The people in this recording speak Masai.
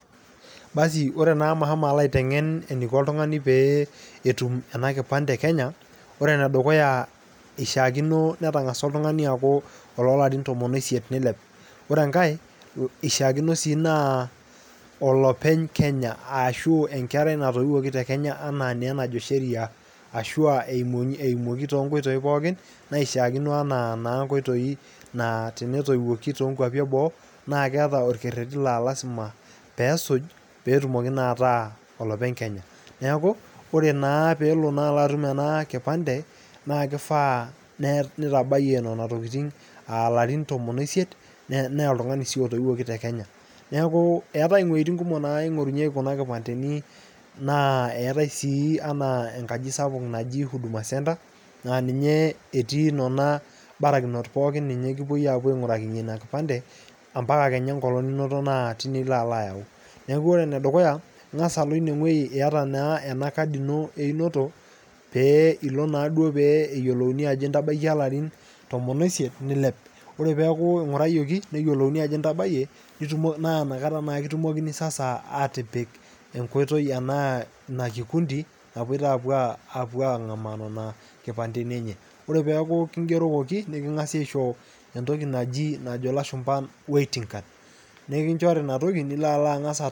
Ore naa amu ashomo alo aitengen eneiko ltungani peetum ena nkipande ekenya, ore ne dukuya eishaakino netang'asua oltungani aaku loo larin tomon oisiet neileou, ore enkae eishaakino sii naa olopeny kenya ashuu inkerrei natoiwaki tekenya enaa naa enajo sheria asua eimoki to noitoii pookin naishaakino anaa naa nkoitoi naa tenetoiwaki too nkwopi eboo na keeta orkereti naa lasima peesuj peetumki na ataa olopeny kenys neaku ore naa peelo atuma an nkipande naa keifaa neitabiye nenia tokitin aalarin tomon oo isiet naa oltungani sii otoiwokite kenya neaku eatae wejitin kumok naing'orinyeki kuna nkipandeni naa eate sii anaa nkaji sapuk ajii huduma centre aa ninye etii nona barakinot pookin ninye kipoi aapo aig'urakinye nena nkipande empaka kenya inkolong ninoto naati nilo alo aayau, naaku ore enedukuya ing'as alo ineweji ieta naa ena kadi ino einoto pee ilo naaado pee eiyolouni aajo intabaka ill'arin ntomini oo isiet neiliep, ore peaku eing'uriyokin neyelouni aajo intabaiye naaa inakata naa kutumokini sasa aatipik enkoitoi ana inakikundi napoito aapo ang'amaa inkipandeni enye, ore peaku kingerokoki niking'asi aicho entoki najo iloshumba waiting card .